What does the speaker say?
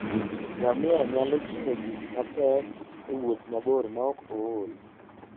Ngamia nyalo ting'o gik mapek e wuoth mabor maok ool.